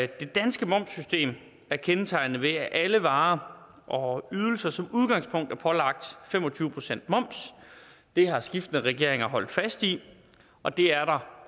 det danske momssystem er kendetegnet ved at alle varer og ydelser som udgangspunkt er pålagt fem og tyve procent moms det har skiftende regeringer holdt fast i og det er der